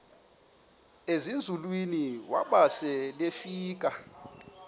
ezinzulwini waba selefika